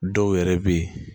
Dɔw yɛrɛ bɛ yen